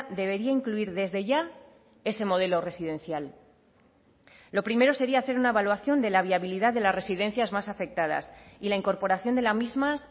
debería incluir desde ya ese modelo residencial lo primero sería hacer una evaluación de la viabilidad de las residencias más afectadas y la incorporación de las mismas